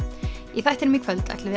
í þættinum í kvöld ætlum